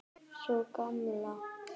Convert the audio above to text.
Sú Gamla?